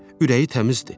Ürəyi təmizdir.